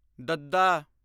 ਦੱਦਾ